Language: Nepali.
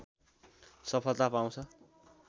सफलता पाउँछ